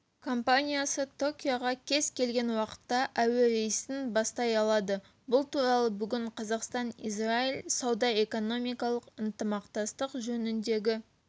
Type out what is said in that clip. компаниясы токиоға кез келген уақытта әуе рейсін бастай алады бұл туралы бүгін қазақстан-израиль сауда-экономикалық ынтымақтастық жөніндегі